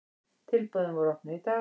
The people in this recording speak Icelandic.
Tilboðin voru opnuð í dag.